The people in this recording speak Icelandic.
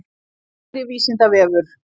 Kæri vísindavefur.